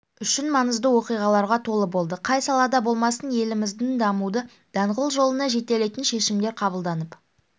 үшін маңызды оқиғаларға толы болды қай салада болмасын елімізді дамудың даңғыл жолына жетелейтін шешімдер қабылданып